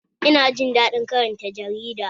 Ina jin daɗin karanta jarida